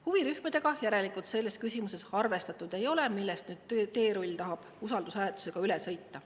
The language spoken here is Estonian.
Huvirühmadega järelikult selles küsimuses arvestatud ei ole ja teerull tahab sellest nüüd usaldushääletusega üle sõita.